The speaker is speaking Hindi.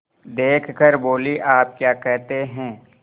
देख कर बोलीआप क्या कहते हैं